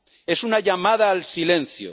Es una llamada al silencio.